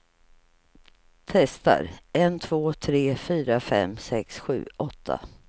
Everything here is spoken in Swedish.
Testar en två tre fyra fem sex sju åtta.